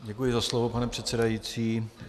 Děkuji za slovo, pane předsedající.